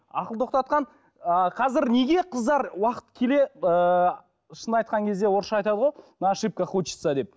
ақыл тоқтатқан ы қазір неге қыздар уақыт келе ыыы шынын айтқан кезде орысша айтады ғой на ошибках учатся деп